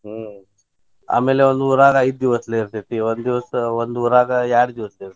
ಹ್ಮ್ ಆಮೇಲ್ ಒಂದ್ ಊರಾಗ ಐದ್ ದಿವಸ ಇರ್ತೇತಿ. ಒಂದ್ ದಿವ್ಸ ಒಂದ್ ಊರಾಗ ಎರಡ್ ದಿವ್ಸ ಇರ್ತೇತಿ.